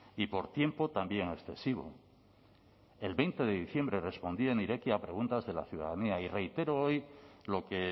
y por tiempo también excesivo el veinte de diciembre respondía en irekia a preguntas de la ciudadanía y reitero hoy lo que